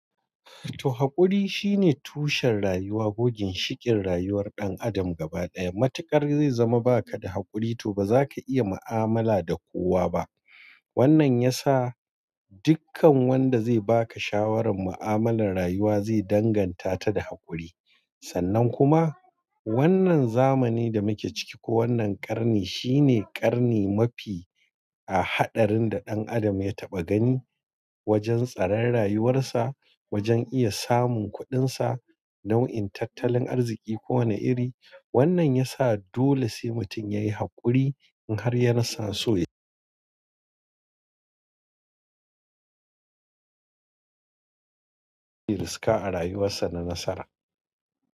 To, haƙuri shine tushen rayuwa, gogin shikin rayuwar ɗan adam gaba ɗaya. Matuƙar zai zama ba ka da haƙuri to ba za ka iya mu'amala da kowa ba. Wannan ya sa dukkan wanda zai ba ka shawarar mu'amalar rayuwa zai danganta ta da haƙuri. Sannan kuma wannan zamani da muke ciki ko wannan ƙarni shine ƙarni mafi a haɗarin da ɗan adam ya taɓa gani wajen tsarar rayuwarsa, wajen iya samun kuɗinsa, nau'in tattalin arziki ko wane iri. Wannan ya sa dole sai mutum ya yi haƙuri in har ya na so ya riska a rayuwarsa da nasara.